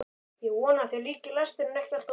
Ég vona að þér líki lesturinn ekki allt of vel.